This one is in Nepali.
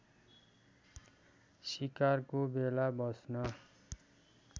सिकारको बेला बस्न